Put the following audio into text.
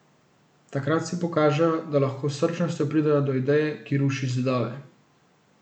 Takrat si pokažejo, da lahko s srčnostjo pridejo do ideje, ki ruši zidove.